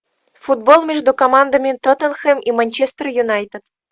футбол между командами тоттенхэм и манчестер юнайтед